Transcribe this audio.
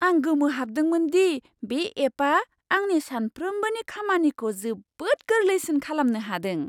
आं गोमोहाबदोंमोन दि बे एपआ आंनि सानफ्रोम्बोनि खामानिखौ जोबोद गोरलैसिन खालामनो हादों!